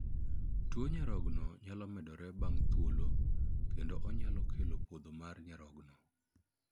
Tuo nyarogno nyalo medore bang' thuolo, kendo onyalo kelo podho mar nyarogno.